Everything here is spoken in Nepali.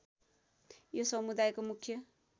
यो समुदायको मुख्य